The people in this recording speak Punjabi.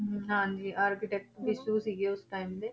ਹਮ ਹਾਂਜੀ architect ਸੀਗੇ ਉਸ time ਦੇ।